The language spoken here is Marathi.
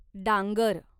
डांगर